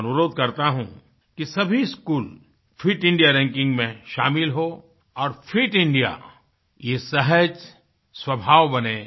मैं अनुरोध करते हूँ कि सभी स्कूलफिट इंडियारैंकिंग में शामिल हों और फिट Indiaयह सहज स्वभाव बने